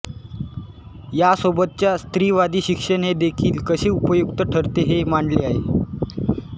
यासोबतच स्त्रीवादी शिक्षण हे देखील कसे उपयुक्त ठरते हे मांडले आहे